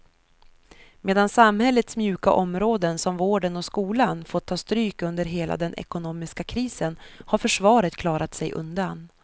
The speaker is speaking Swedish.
Medan samhällets mjuka områden som vården och skolan fått ta stryk under hela den ekonomiska krisen har försvaret klarat sig undan.